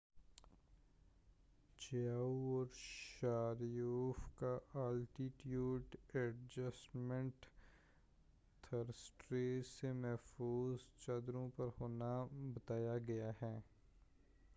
Chiao اور Sharipov کا altitude adjustment thrusters سے محفوظ چدوری پر ہونا بتایا گیا ہے